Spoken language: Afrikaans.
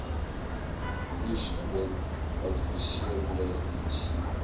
oesvoeding adviserende diens